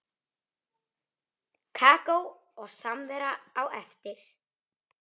Kakó og samvera á eftir.